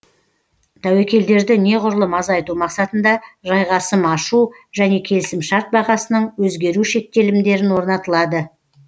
тәуекелдерді неғұрлым азайту мақсатында жайғасым ашу және келісімшарт бағасының өзгеру шектелімдерін орнатылады